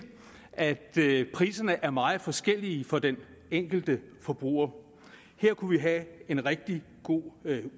at priserne er meget forskellige for den enkelte forbruger her kunne vi have en rigtig god